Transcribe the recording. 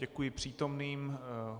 Děkuji přítomným.